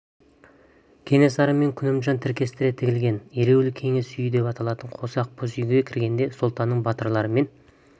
кенесары мен күнімжан тіркестіре тігілген ереуіл кеңес үйі деп аталатын қос ақ боз үйге кіргенде сұлтанның батырлары мен